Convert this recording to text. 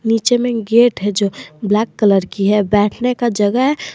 नीचे मे गेट है जो ब्लैक कलर की है बैठने का जगह है।